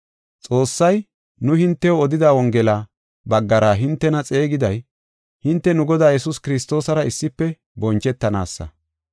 Xoossay, nu hintew odida Wongela baggara hintena xeegiday, hinte nu Godaa Yesuus Kiristoosara issife bonchetanaasa.